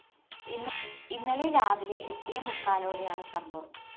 ഇന്നലെ രാവിലെ എട്ടേ മുക്കാലോടെയാണ് സംഭവം